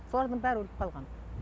солардың бәрі өліп қалған